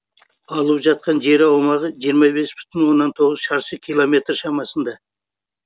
алып жатқан жер аумағы жиырма бес бүтін оннан тоғыз шаршы километр шамасында